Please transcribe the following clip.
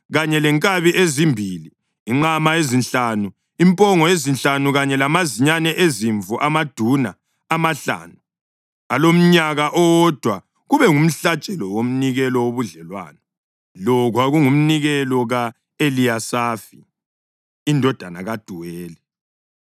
kanye lenkabi ezimbili, inqama ezinhlanu, impongo ezinhlanu kanye lamazinyane ezimvu amaduna amahlanu alomnyaka owodwa kube ngumhlatshelo womnikelo wobudlelwano. Lo kwakungumnikelo ka-Eliyasafi indodana kaDuweli.